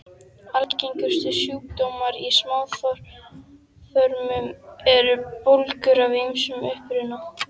Algengustu sjúkdómar í smáþörmum eru bólgur af ýmsum uppruna.